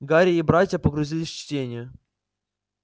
гарри и братья погрузились в чтение